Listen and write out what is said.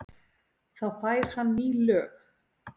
Þá fær hann ný lög.